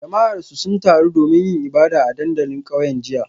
Jama'arsu sun taru domin yin ibada a dandalin kauyen jiya